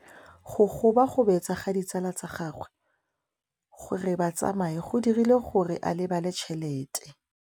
Go gobagobetsa ga ditsala tsa gagwe, gore ba tsamaye go dirile gore a lebale tšhelete.